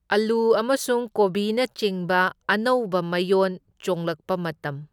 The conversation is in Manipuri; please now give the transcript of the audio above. ꯑꯜꯂꯨ ꯑꯃꯁꯨꯡ ꯀꯣꯕꯤꯅꯆꯤꯡꯕ ꯑꯅꯧꯕ ꯃꯌꯣꯟ ꯆꯣꯡꯂꯛꯄ ꯃꯇꯝ꯫